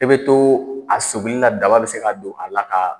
E bɛ to a seginni na daba bɛ se ka don a la ka